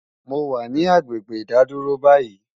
mo wà ní agbègbè ìdádúró báyìí